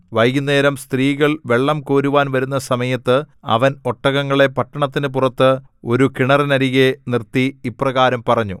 വൈകുന്നേരം സ്ത്രീകൾ വെള്ളംകോരുവാൻ വരുന്ന സമയത്ത് അവൻ ഒട്ടകങ്ങളെ പട്ടണത്തിന് പുറത്ത് ഒരു കിണറിനരികെ നിർത്തി ഇപ്രകാരം പറഞ്ഞു